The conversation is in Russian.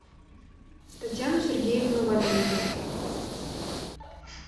татьяну сергеевну валиеву